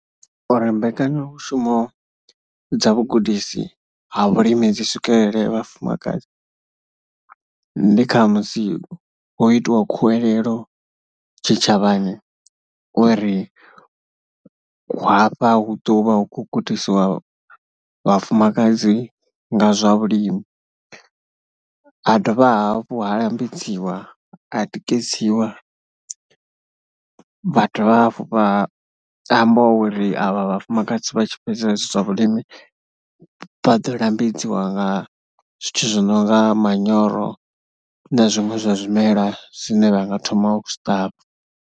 Uri mbekanyamushumo dza vhugudisi ha vhulimi dzi swikelele vhafumakadzi, ndi kha musi hu itiwa khuwelelo tshitshavhani uri hafha hu ḓo vha hu khou gudisiwa vhafumakadzi nga zwa vhulimi. Ha dovha hafhu ha lambedziwa, ha tikedziwa, vha dovha hafhu vha amba uri avha vhafumakadzi vha tshi fhedza hezwi zwa vhulimi vha ḓo lambedziwa nga zwithu zwi no nga manyoro na zwiṅwe zwa zwimela zwine vha nga thoma u zwi ṱavha.